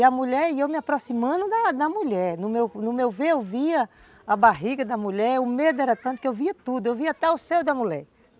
E a mulher e eu me aproximando da da mulher, no no meu ver eu via a barriga da mulher, o medo era tanto que eu via tudo, eu via até o seio da mulher.